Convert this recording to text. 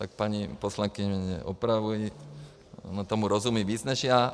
Tak paní poslankyně mě opravuje, ona tomu rozumí víc než já.